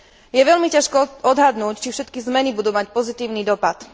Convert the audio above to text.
Je veľmi ťažké odhadnúť, či všetky zmeny budú mať pozitívny dopad.